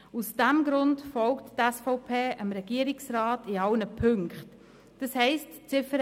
Aus diesem Grund folgt die SVP dem Regierungsrat bei allen Ziffern.